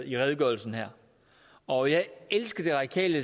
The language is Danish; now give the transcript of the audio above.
i redegørelsen her og jeg elsker det radikale